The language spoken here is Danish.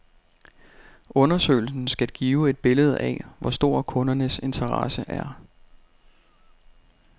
Undersøgelsen skal give et billede af, hvor stor kundernes interesse er.